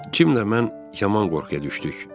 Kimlə mən yaman qorxuya düşdük.